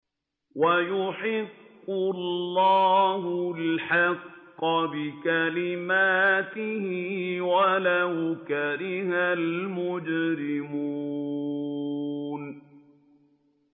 وَيُحِقُّ اللَّهُ الْحَقَّ بِكَلِمَاتِهِ وَلَوْ كَرِهَ الْمُجْرِمُونَ